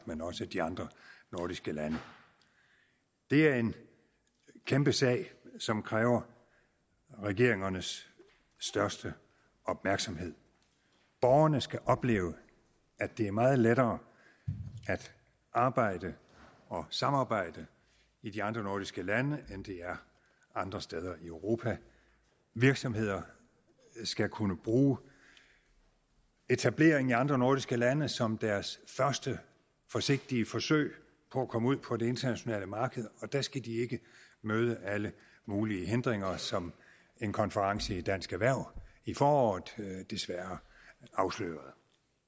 men også de andre nordiske lande det er en kæmpe sag som kræver regeringernes største opmærksomhed borgerne skal opleve at det er meget lettere at arbejde og samarbejde i de andre nordiske lande end det er andre steder i europa virksomheder skal kunne bruge etableringen i andre nordiske lande som deres første forsigtige forsøg på at komme ud på det internationale marked og der skal de ikke møde alle mulige hindringer som en konference i dansk erhverv i foråret desværre afslørede